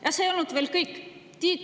Ja see ei ole veel kõik!